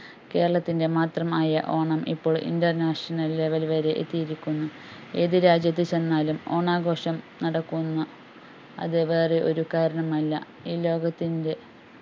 കേരളത്തിന്റെ മാത്രം ആയ ഓണം ഇപ്പോൾ Internationallevel വരെ എത്തിയിരിക്കുന്നു ഏതു രാജ്യത്തു ചെന്നാലും ഓണാഘോഷം നടക്കുന്നു അത് വേറെ ഒരു കാരണം അല്ല ഈ ലോകത്തിന്റ